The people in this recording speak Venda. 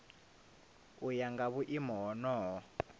u ya nga vhuimo honoho